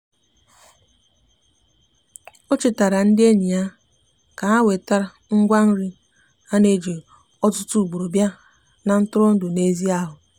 o chetara ndi enyi ya ka ha weta ngwa nri ana eji ọtụtụ ugboro bia na ntụrụndụ n'ezi ahụ.